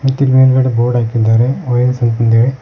ಮತ್ತೆಲ್ಲಿ ಮೇಲ್ಗಡೆ ಬೋರ್ಡ್ ಹಾಕಿದ್ದಾರೆ ಓ_ಎಸ್ ಅಂತಂದ್ ಹೇಳಿ.